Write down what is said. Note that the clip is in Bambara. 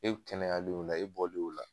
E kɛnɛyalen o la , e bɔlen o la.